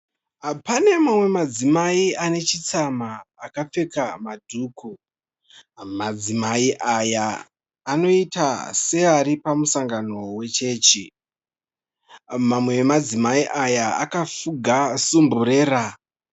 Pane madzimai ane chitsamwa akapfeka madhuku. Madzimai aya anoiita kunge ari pamusangano wechechi. Mamwe emadzimai aya akafuga sumburera.